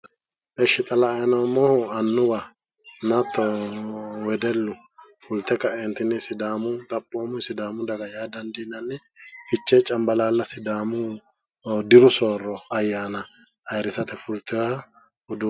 esh xa la"ay noommohu annuwaho hattono wedellu fulte kaeentinni xaphoomu sidaamu daga yaa dandiinanni fichee cambalaalla sidaaamu diru soorro ayyaana ayiirisate fulteeha uduu,,,